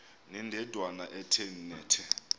ndanendawo ethe nethe